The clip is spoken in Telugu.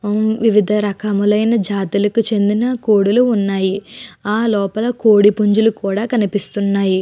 వివిధ రకములైన జాతులకు చెందినక కోడులు ఉన్నాయి. ఆ లోపల కోడి పుంజులు కూడా కనిపిస్తున్నాయి.